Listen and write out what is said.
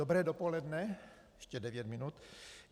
Dobré dopoledne - ještě devět minut.